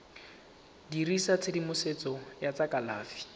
dirisa tshedimosetso ya tsa kalafi